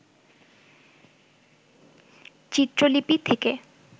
চিত্রলিপি থেকে